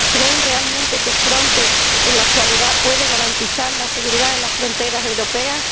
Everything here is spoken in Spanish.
¿Creen realmente que Frontex en la actualidad puede garantizar la seguridad de las fronteras europeas?